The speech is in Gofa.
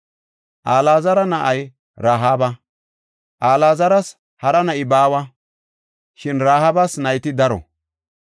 Alaazara na7ay Rahaaba. Alaazaras hara na7i baawa; shin Rahaabas nayti daro.